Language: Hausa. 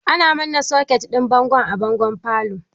Ana manna soket ɗin bango a bangon falo.